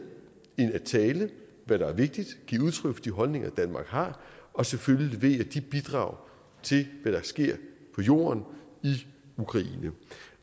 end at tale hvad der er vigtigt og give udtryk for de holdninger danmark har og selvfølgelig levere de bidrag til hvad der sker på jorden i ukraine